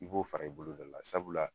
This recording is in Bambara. I b'o fara i boloda la sabula